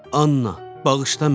Anna, bağışla məni.